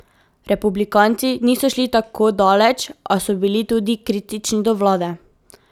Republikanci niso šli tako daleč, a so bili tudi kritični do vlade.